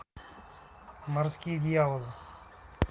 морские дьяволы